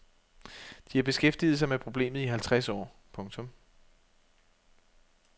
De har beskæftiget sig med problemet i halvtreds år. punktum